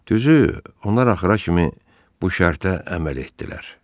Düzü, onlar axıra kimi bu şərtə əməl etdilər.